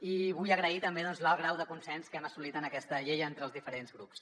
i vull agrair també l’alt grau de consens que hem assolit en aquesta llei entre els diferents grups